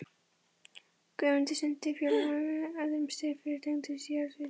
Guðmundur sinnti fjölmörgum öðrum störfum er tengdust jarðvísindum og jarðhita.